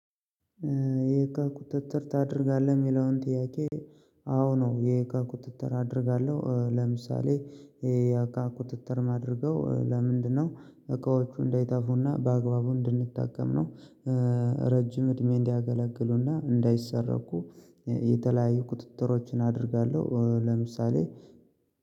የእቃ ቁጥጥር ታደርጋለህ የሚለውን ጥያቄ? አዎ ነው። የእቃ ቁጥጥር አደርጋለሁ ለምሳሌ። የእቃ ቁጥጥር ማድረገው ለምንድነው? እቃዎቹ እንዳይጠፉና በአግባቡ እንድንጠቀም ነው። ረጅም እድሜ እንዲያገለግሉና እንዳይሰረቁ የተለያዩ ቁጥጥሮችን አደርጋለሁ። ለምሳሌ